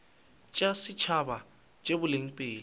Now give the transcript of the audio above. tša setšhaba tša boleng pele